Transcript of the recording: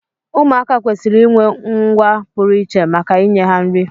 Ụmụaka kwesịrị inwe ngwa pụrụ iche maka inye ha nri